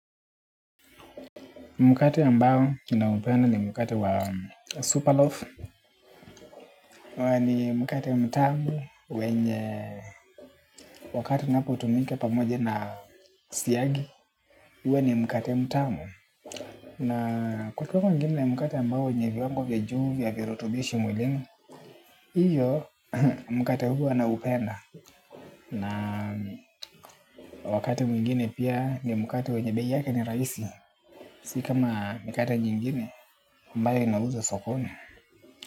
Mkate ambao ninaupenda ni mkate wa superloaf. Huwa ni mkate ya mtamu. Wenye wakati unapotumika pamoja na siagi huwa ni mkate mtamu. Na kwa kwa kwa ngini na mkate ambao wenye viwango vya juu vya virutubishi mwilini hiyo mkate huo naupenda. Na wakati mwingine pia ni mkate wenye bei yake ni rahisi. Si kama mikate nyingine ambayo inauzwa sokoni.